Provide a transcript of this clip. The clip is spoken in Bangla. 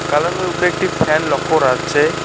কালো রঙ্গের উপরে একটি ফ্যান লক্ষ্য করা যাচ্ছে।